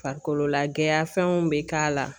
Farikolola gɛya fɛnw bɛ k'a la